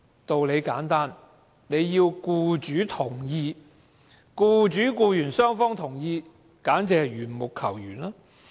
道理很簡單，要僱主同意或僱主和僱員雙方同意，僱員才可復職，這簡直是緣木求魚。